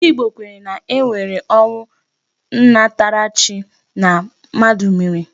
Ndị Igbo kwenyere na e nwere ọnwụ nnataarchi na mmadụ mere.